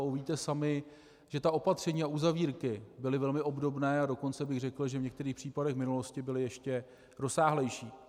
A uvidíte sami, že ta opatření a uzavírky byly velmi obdobné, a dokonce bych řekl, že v některých případech v minulosti byly ještě rozsáhlejší.